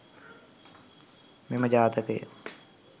මෙම ජාතකය